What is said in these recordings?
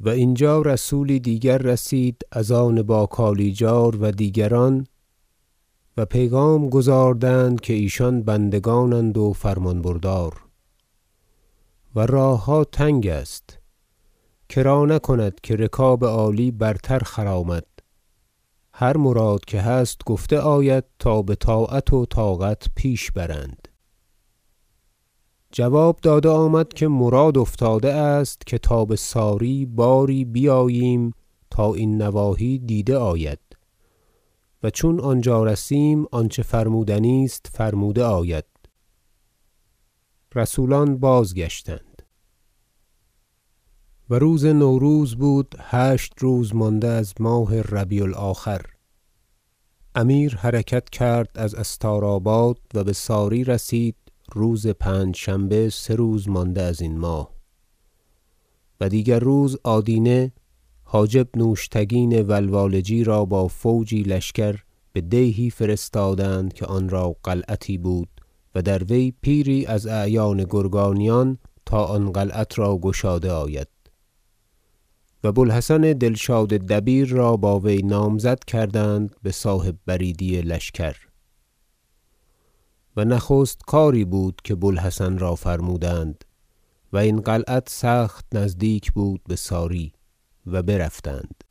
و اینجا رسولی دیگر رسید از آن با کالیجار و دیگران و پیغام گزاردند که ایشان بندگانند فرمان بردار و راهها تنگ است کرانکند که رکاب عالی برتر خرامد هر مراد که هست گفته آید تا بطاعت و طاقت پیش برند جواب داده آمد که مراد افتاده است که تا ساری باری بیاییم تا این نواحی دیده آید و چون آنجا رسیدیم آنچه فرمودنی است فرموده آید رسولان بازگشتند و روز نوروز بود هشت روز مانده از ماه ربیع الآخر امیر حرکت کرد از استار- آباد و بساری رسید روز پنجشنبه سه روز مانده ازین ماه و دیگر روز آدینه حاجب نوشتگین و لوالجی را با فوجی لشکر بدیهی فرستادند که آنرا قلعتی بود و در وی پیری از اعیان گرگانیان تا آن قلعت را گشاده آید و بوالحسن دلشاد دبیر را با وی نامزد کردند بصاحب بریدی لشکر و نخست کاری بود که بوالحسن را فرمودند و این قلعت سخت نزدیک بود بساری و برفتند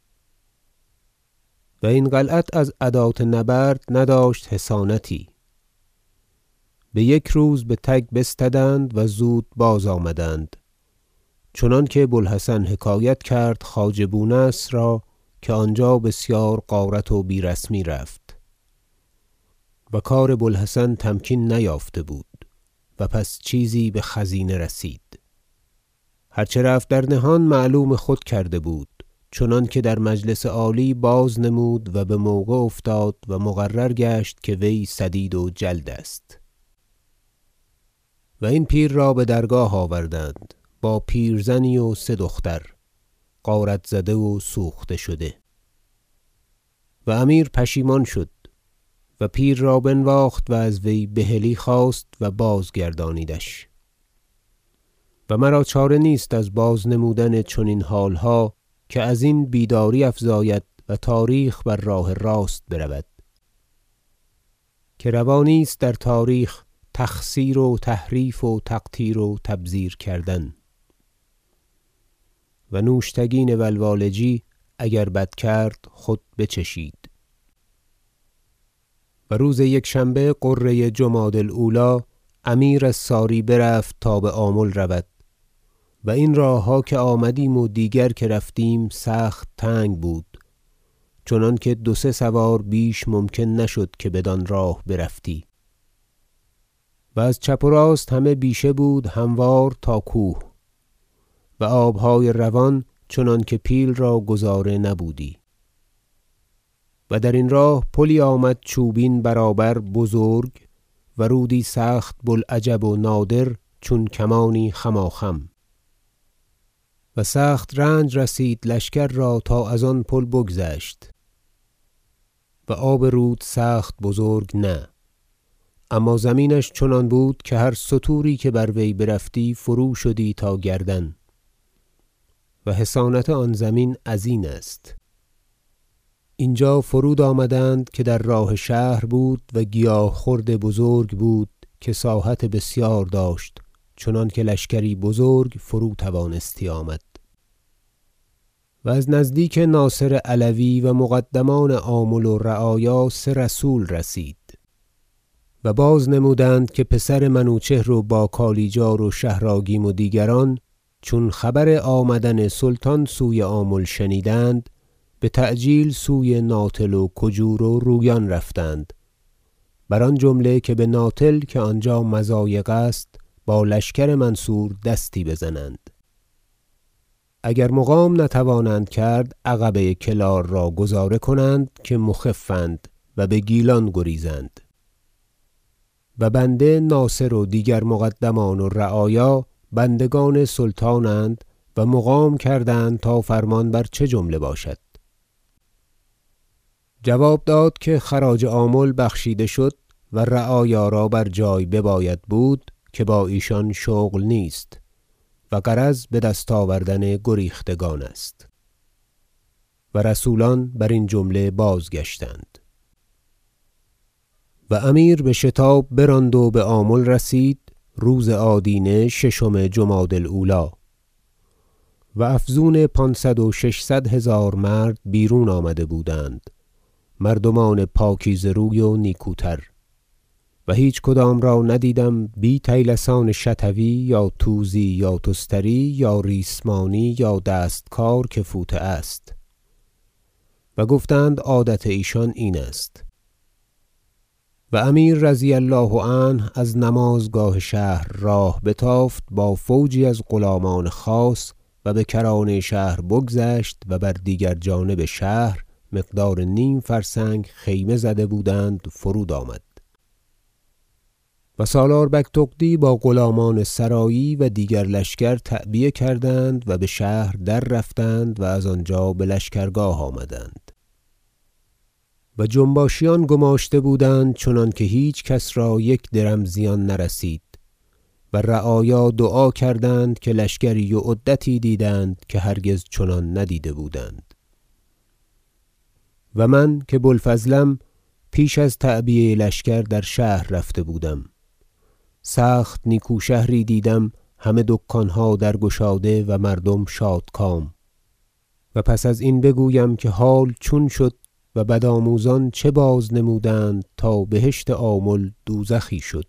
و این قلعت از ادات نبرد نداشت حصانتی بیک روز بتگ بستدند و زود بازآمدند چنانکه بوالحسن حکایت کرد خواجه بونصر را که آنجا بسیار غارت و بی رسمی رفت و کار بوالحسن تمکین نیافته بود پس چیزی بخزینه رسید هر چه رفت در نهان معلوم خود کرده بود چنانکه در مجلس عالی بازنمود و بموقع افتاد و مقرر گشت که وی سدید و جلد است و این پیر را بدرگاه آوردند با پیرزنی و سه دختر غارت زده و سوخته شده و امیر پشیمان شد و پیر را بنواخت و از وی بحلی خواست و بازگردانیدش و مرا چاره نیست از بازنمودن چنین حالها که ازین بیداری افزاید و تاریخ بر راه راست برود که روا نیست در تاریخ تخسیر و تحریف و تقتیر و تبذیر کردن و نوشتگین ولوالجی اگر بد کرد خود بچشید حرکت مسعود بآمل و روز یکشنبه غره جمادی الاولی امیر از ساری برفت تا بآمل رود و این راهها که آمدیم و دیگر که رفتیم سخت تنگ بود چنانکه دو سه سوار بیش ممکن نشد که بدان راه برفتی و از چپ و راست همه بیشه بود هموار تا کوه و آبهای روان چنانکه پیل را گذاره نبودی و درین راه پلی آمد چوبین برابر بزرگ و رودی سخت بوالعجب و نادر چون کمانی خماخم و سخت رنج رسید لشکر را تا از آن پل بگذشت و آب رود سخت بزرگ نه اما زمینش چنان بود که هر ستوری که بروی برفتی فروشدی تا گردن و حصانت آن زمین ازین است اینجا فرود آمدند که در راه شهر بود و گیاه خورد بزرگ بود که ساحت بسیار داشت چنانکه لشکری بزرگ فروتوانستی آمد و از نزدیک ناصر علوی و مقدمان آمل و رعایا سه رسول رسید و بازنمودند که پسر منوچهر و باکالیجار و شهر آگیم و دیگران چون خبر آمدن سلطان سوی آمل شنیدند بتعجیل سوی ناتل و کجور و رویان رفتند بر آن جمله که به ناتل که آنجا مضایق است با لشکر منصور دستی بزنند اگر مقام نتوانند کرد عقبه کلار را گذاره کنند که مخف اند و بگیلان گریزند و بنده ناصر و دیگر مقدمان و رعایا بندگان سلطانند و مقام کردند تا فرمان بر چه جمله باشد جواب داد که خراج آمل بخشیده شد و رعایا را بر جای بباید بود که با ایشان شغل نیست و غرض بدست آوردن گریختگان است و رسولان برین جمله بازگشتند و امیر بشتاب براند و بآمل رسید روز آدینه ششم جمادی الاولی و افزون پانصد و ششصد هزار مرد بیرون آمده بودند مردمان پاکیزه روی و نیکوتر و هیچ کدام را ندیدم بی طیلسان شطوی یا توزی یا تستری یا ریسمانی یا دست- کار که فوطه است و گفتند عادت ایشان این است و امیر رضی الله عنه از نمازگاه شهر راه بتافت با فوجی از غلامان خاص و بکرانه شهر بگذشت و بر دیگر جانب شهر مقدار نیم فرسنگ خیمه زده بودند فرود آمد و سالار بگتغدی با غلامان سرایی و دیگر لشکر تعبیه کردند و بشهر دررفتند و از آنجا بلشکرگاه آمدند و جنباشیان گماشته بودند چنانکه هیچ کس را یک درم زیان نرسید و رعایا دعا کردند که لشکری و عدتی دیدند که هرگز چنان ندیده بودند و من که بوالفضلم پیش از تعبیه لشکر در شهر رفته بودم سخت نیکو شهری دیدم همه دکانها درگشاده و مردم شادکام و پس ازین بگویم که حال چون شد و بدآموزان چه بازنمودند تا بهشت آمل دوزخی شد